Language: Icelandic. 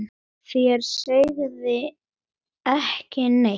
Þér sögðuð ekki neitt!